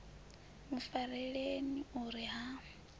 mu fareleni u ri ha